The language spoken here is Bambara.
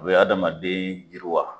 O bɛ hadamaden yiri wa.